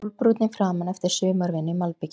Sólbrúnn í framan eftir sumarvinnu í malbiki.